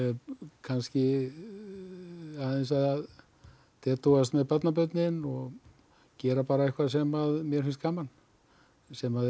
kannski að dedúast með barnabörnin gera bara eitthvað sem mér finnst gaman sem er